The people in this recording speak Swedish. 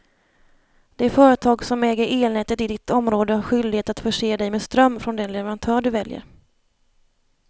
Det företag som äger elnätet i ditt område har skyldighet att förse dig med ström från den leverantör du väljer.